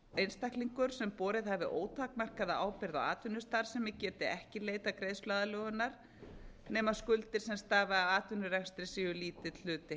einstaklingur sem borið hefur ótakmarkaða ábyrgð á atvinnustarfsemi geti ekki leitað greiðsluaðlögunar nema skuldir sem stafi af atvinnurekstrinum séu lítill hluti